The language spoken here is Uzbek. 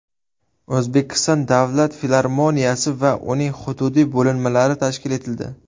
O‘zbekiston davlat filarmoniyasi va uning hududiy bo‘linmalari tashkil etildi.